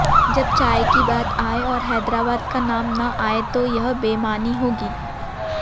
जब चाय की बात आए और हैदराबाद का नाम न आए तो यह बेमानी होगी